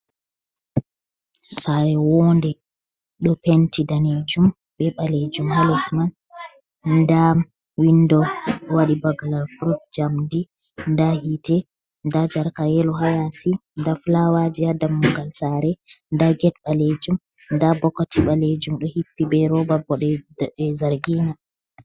Sare wonde ɗo penti danejum be balejum ha lesman da windo waɗi bagala prut jamdi da hite da jarka yelo hayasi da fulawaji ha damungal sare da get balejum da bokati balejum do hippi be roba bo nonde zargina.